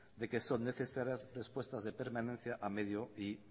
de que son necesarias respuestas de permanencia a medio y